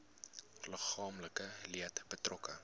liggaamlike leed betrokke